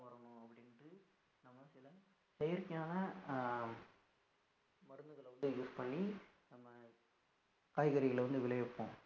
செயற்கையான அஹ் மருந்துகளை கொண்டு use பண்ணி நம்ம காய்கறிகளை வந்து விளைய வைப்போம்